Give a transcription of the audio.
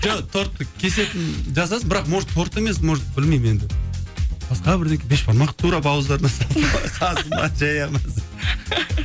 жоқ торттың кесетінін жасасын бірақ может торт емес может білмеймін енді басқа бірдеңе бешбармақ